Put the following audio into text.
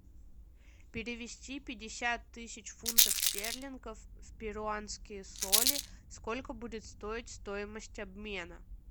перевести пятьдесят тысяч фунтов стерлингов в перуанские соли сколько будет стоить стоимость обмена